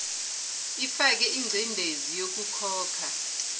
ifake ingcindezi yokukhokha